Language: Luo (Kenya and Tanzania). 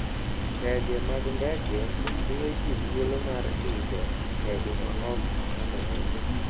Ndege mag ndege miyo ji thuolo mar idho ndege maok gichandore.